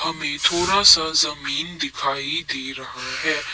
हमें थोड़ा सा जमीन दिखाई दे रहा है ।